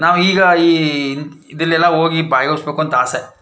ನಾವೀಗ ಈ ಇದಿಲ್ಲೆಲ್ಲಾ ಹೋಗಿ ಬಾಯಸ್ ಬೇಕು ಅಂತ ಆಸೆ.